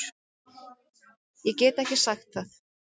Ég get ekki sagt það